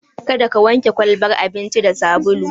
Kada ka wanke kwalbar abincin da sabulu!